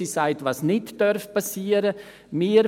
Sie sagt, was nicht geschehen darf.